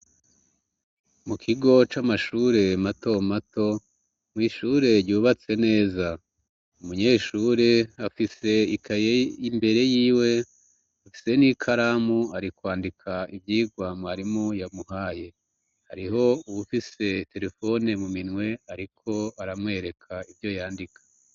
Mu kigo c'amashure mato mato mwishure ryubatse neza umunyeshure afise ikayey imbere yiwe afise n'ikaramu arikwandika ivyirwa mwarimu yamuhaye hariho uwufise telefone mu minwe, ariko aramwereka ka ivyo yandika.